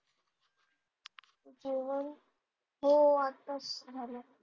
जेवण हो आत्ताच झालं.